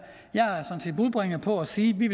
jeg er sådan set budbringer for at sige at vi